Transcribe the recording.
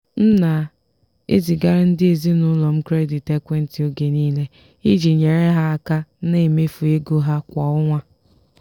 m na-ezigara ndị ezinụlọ m kredit ekwentị oge niile iji nyere ha aka na mmefu ego ha kwa ọnwa.